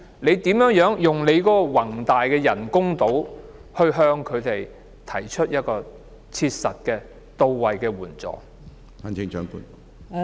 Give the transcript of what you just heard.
如何利用宏大的人工島為他們提供切實、到位的援助？